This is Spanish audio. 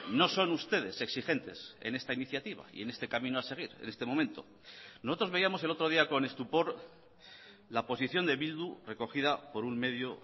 no son ustedes exigentes en esta iniciativa y en este camino a seguir en este momento nosotros veíamos el otro día con estupor la posición de bildu recogida por un medio